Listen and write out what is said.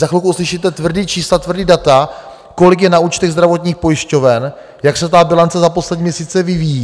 Za chvilku uslyšíte tvrdá čísla, tvrdá data, kolik je na účtech zdravotních pojišťoven, jak se ta bilance za poslední měsíce vyvíjí.